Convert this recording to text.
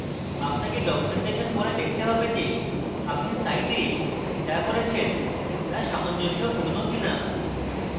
আপনাকে documentation পরে দেখতে have যে আপনি site যা করেছেন তা সামঞ্জস্যপূর্ণ কিনা